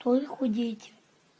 тоже худеете